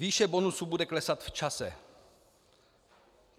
Výše bonusu bude klesat v čase.